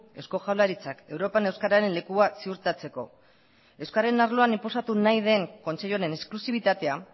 eusko jaurlaritzak europan euskararen lekua ziurtatzeko euskararen arloan inposatu nahi den kontseilu honen esklusibitatea